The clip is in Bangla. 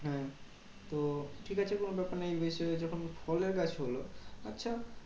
হ্যাঁ তো ঠিক আছে কোনো ব্যাপার নেই। এই যখন ফলের গাছ হলো। আচ্ছা